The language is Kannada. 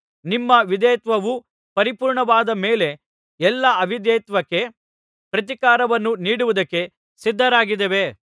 ನಿಮ್ಮ ವಿಧೇಯತ್ವವು ಪರಿಪೂರ್ಣವಾದ ಮೇಲೆ ಎಲ್ಲಾ ಅವಿಧೇಯತ್ವಕ್ಕೆ ಪ್ರತಿಕಾರವನ್ನು ನೀಡುವುದಕ್ಕೆ ಸಿದ್ಧರಾಗಿದ್ದೇವೆ